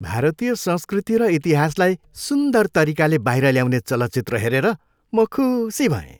भारतीय संस्कृति र इतिहासलाई सुन्दर तरिकाले बाहिर ल्याउने चलचित्र हेरेर म खुसी भएँ।